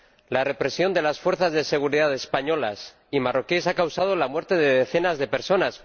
La represión de las fuerzas de seguridad españolas y marroquíes ha causado la muerte de decenas de personas.